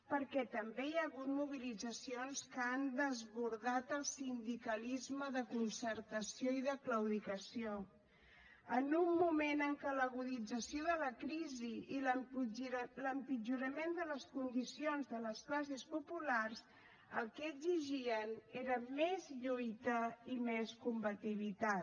perquè també hi ha hagut mobilitzacions que han desbordat el sindicalisme de concertació i de claudicació en un moment en què l’agudització de la crisi i l’empitjorament de les condicions de les classes populars el que exigien era més lluita i més combativitat